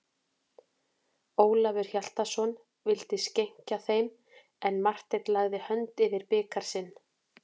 Ólafur Hjaltason vildi skenkja þeim, en Marteinn lagði hönd yfir bikar sinn.